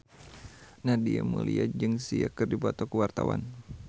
Nadia Mulya jeung Sia keur dipoto ku wartawan